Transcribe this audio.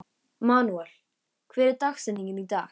Manuel, hver er dagsetningin í dag?